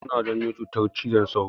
Sauro suna janyo cutar cizon sauro.